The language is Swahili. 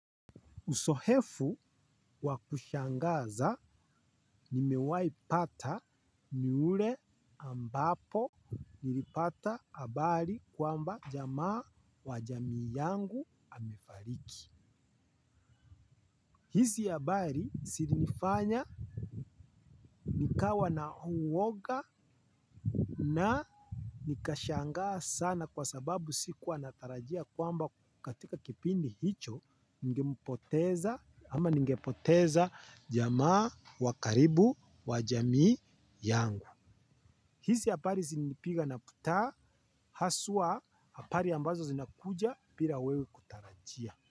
Usohefu wakushangaza nimewai pata ni ule ambapo nilipata abari kwamba jamaa wa jamii yangu amefariki. Hizi abari sirinifanya nikawa na uwoga na nikashangaa sana kwa sababu sikuwa natarajia kwamba katika kipindi hicho ningempoteza ama ningepoteza jamaa wa karibu wa jamii yangu. Hizi apari zilinipiga na putaa haswa hapari ambazo zinakuja pira wewe kutarajia.